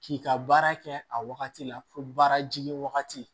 K'i ka baara kɛ a wagati la fo baara jigin wagati